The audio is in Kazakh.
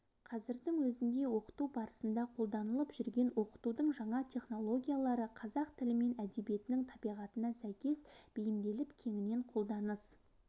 қазірдің өзінде оқыту барысында қолданылып жүрген оқытудың жаңа технологиялары қазақ тілі мен әдебиетінің табиғатына сәйкес бейімделіп кеңінен қолданыс